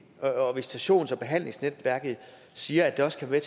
og visitations og behandlingsnetværket siger at det også kan være